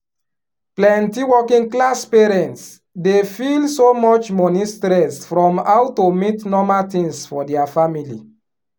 plenty working class parents dey feel so much money stress from how to meet normal things for dia family